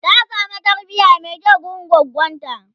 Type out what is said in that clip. ta samu tarbiya Mai kyau wurin goggonta